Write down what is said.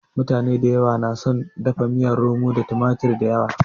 Mutane dayawa na son dafa miyar romon su da tumatir dayawa.